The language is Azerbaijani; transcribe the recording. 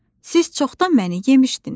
Siz çoxdan məni yemişdiniz.